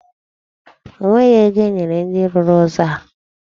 O nweghị ego enyere ndị rụrụ ụzọ a.